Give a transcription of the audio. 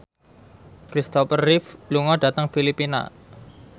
Christopher Reeve lunga dhateng Filipina